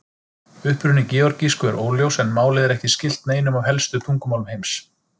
Uppruni georgísku er óljós en málið er ekki skylt neinum af helstu tungumálum heims.